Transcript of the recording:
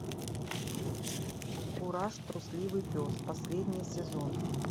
кураж трусливый пес последний сезон